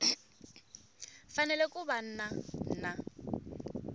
fanele ku va na na